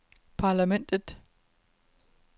parlamentet